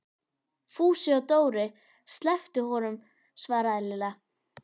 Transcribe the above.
Fúsi og Dóri slepptu honum svaraði Lilla.